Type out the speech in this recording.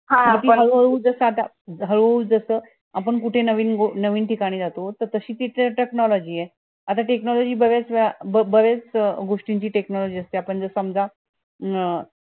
हा बरोबर ये पण ते हळू हळू जस आता हळू जस आपण कुठे नवीन ठिकाणी जातो त तशी ती technology ये आता technology बागायचं बऱ्याच गोष्टी ची technology असते जर समजा